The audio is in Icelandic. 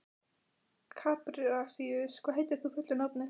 Kaprasíus, hvað heitir þú fullu nafni?